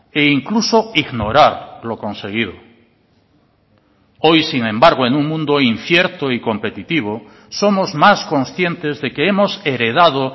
e incluso ignorar lo conseguido hoy sin embargo en un mundo incierto y competitivo somos más conscientes de que hemos heredado